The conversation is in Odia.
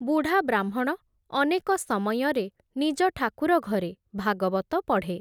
ବୁଢା ବ୍ରାହ୍ମଣ, ଅନେକ ସମୟରେ ନିଜ ଠାକୁର ଘରେ, ଭାଗବତ ପଢ଼େ ।